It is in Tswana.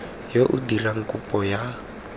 yo o dirang kopo ya